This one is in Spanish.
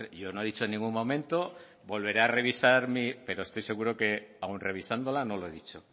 yo no he dicho en ningún momento volveré a revisar pero estoy seguro que aún revisándola no lo he dicho